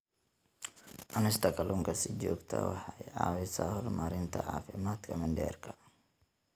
Cunista kalluunka si joogto ah waxay caawisaa horumarinta caafimaadka mindhicirka.